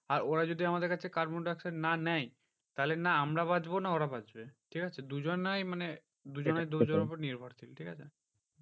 আর ওরা যদি আমাদের কাছে carbon dioxide না নেয় তাহলে না আমরা বাঁচবো না ওরা বাঁচবে, ঠিকাছে দুজনেই মানে দুজনে দুজনের উপর নির্ভরশীল। ঠিকাছে